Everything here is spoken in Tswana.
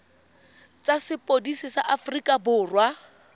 tsa sepodisi sa aforika borwa